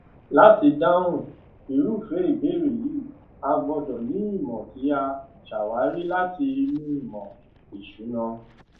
láti dáhùn irúfé ìbéèrè yìí a gbọdọ ni ìmọ tí a ṣàwárí láti inú ìmọ ìsúná